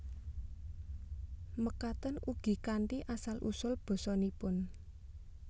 Mekaten ugi kanthi asal usul basanipun